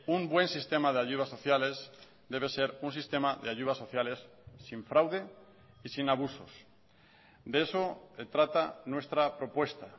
un buen sistema de ayudas sociales debe ser un sistema de ayudas sociales sin fraude y sin abusos de eso trata nuestra propuesta